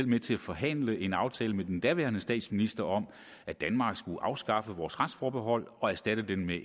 med til at forhandle en aftale med den daværende statsminister om at danmark skulle afskaffe vores retsforbehold og erstatte det med